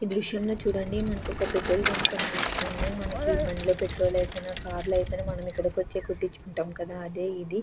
ఈ దృశ్యంలో చూడండి మనకు ఒక పెట్రోల్ బంకు కనిపిస్తుంది. మనకి ఈ బండ్లో పెట్రోల్ అయిపోయిన కార్లు అయిపోయినా ఇక్కడికి వచ్చి కొట్టించుకుంటాం అదే ఇది.